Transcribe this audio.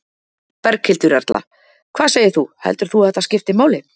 Berghildur Erla: Hvað segir þú, heldur þú að þetta skipti máli?